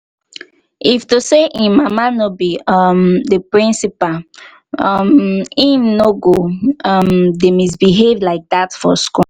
if to say im mama no be um the principal um im no go um dey misbehave like dat for school